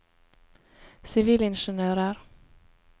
sivilingeniører